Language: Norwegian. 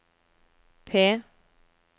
P